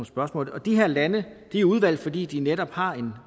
spørgsmål og de her lande er udvalgt fordi de netop har en